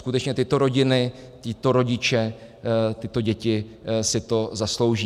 Skutečně tyto rodiny, tito rodiče, tyto děti si to zaslouží.